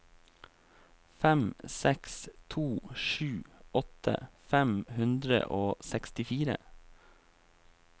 fem seks to sju åtti fem hundre og sekstifire